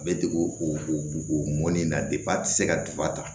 A bɛ degu o o mɔnnen na a tɛ se ka ta